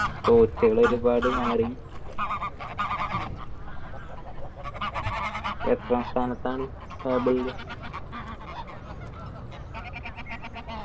coach കൾ ഒരുപാട് മാറി എത്രാം സ്ഥാനത്താണ് table ല്